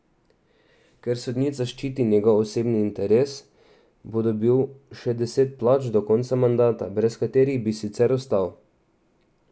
Ker sodnica ščiti njegov osebni interes, bo dobil še deset plač, do konca mandata, brez katerih bi sicer ostal.